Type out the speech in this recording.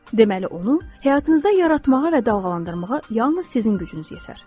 Deməli, onu həyatınızda yaratmağa və dalğalandırmağa yalnız sizin gücünüz yetər.